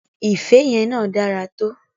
Ife yẹn náà dára to.